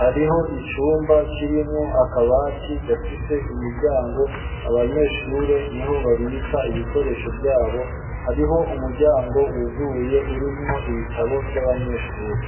,hariho icumba kirimwo akabati gafise imiryango ,abanyeshure niho babika ibikoresho vyabo, hariho umuryango wuguye urimwo ibitabo vy'abanyeshure.